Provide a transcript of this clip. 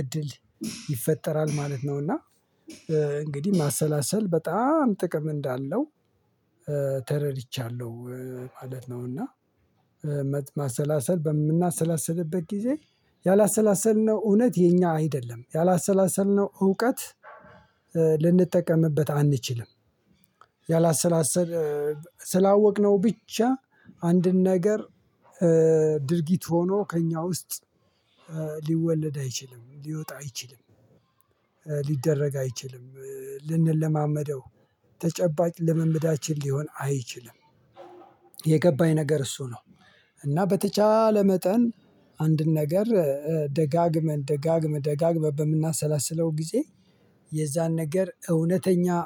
እድል ይፈጠራል ማለት ነው። እና እንግዲህ ማሰላሰል በጣም ጥቅም እንዳለው ተረድቻለሁ ማለት ነው። እና ማሰላሰል በምናሰላስልበት ጊዜ ያላሰላሰልነው እውነት የኛ አይደለም ያላሰላሰልነው እውቀት ልንጠቀምበት አንችልም። ያላሰላሰል ስላወቅነው ብቻ አንድን ነገር ድርጊት ሆኖ ከእኛ ውስጥ ሊወለድ አይችልም ሊወጣ አይችልም። ሊደረግ አይችልም ልንለማመደው ተጨባጭ ለምምዳችን ሊሆን አይችልም። የገባኝ ነገር እሱ ነው እና በተቻለ መጠን አንድን ነገር ደጋግመን ደጋግመን ደጋግመን በምናሰላስለው ጊዜ የዛን ነገር እውነተኛ።